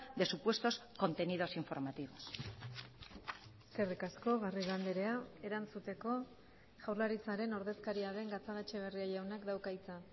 de supuestos contenidos informativos eskerrik asko garrido andrea erantzuteko jaurlaritzaren ordezkaria den gatzagaetxebarria jaunak dauka hitza